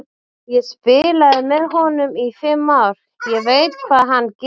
Ég spilaði með honum í fimm ár, ég veit hvað hann getur.